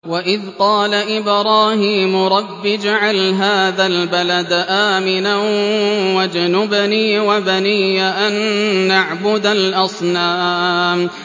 وَإِذْ قَالَ إِبْرَاهِيمُ رَبِّ اجْعَلْ هَٰذَا الْبَلَدَ آمِنًا وَاجْنُبْنِي وَبَنِيَّ أَن نَّعْبُدَ الْأَصْنَامَ